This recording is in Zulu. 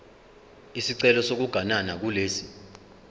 isicelo sokuganana kulesi